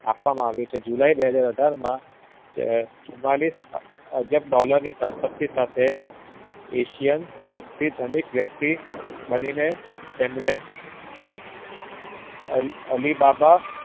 આપવામાં આવ્યુ છે july બે હાજર અઢાર માં ચુમાલીસ હાજર અજબ dollar ની સંપત્તિ સાથે asian સવથી ધનિક વ્યક્તિ બનીને એમને અલીબાબા